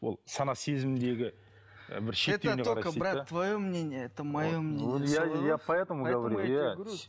ол сана сезімдегі бір твое мнение это мое мнение солай ғой